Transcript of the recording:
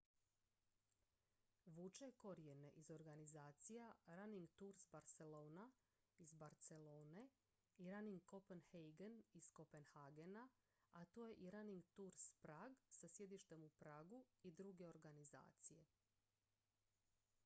vuče korijene iz organizacija running tours barcelona iz barcelone i running copenhagen iz kopenhagena a tu je i running tours prague sa sjedištem u pragu i druge organizacije